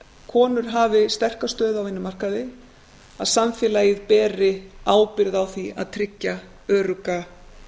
konur hafi sterka stöðu á vinnumarkaði að samfélagið beri ábyrgð á því að tryggja örugga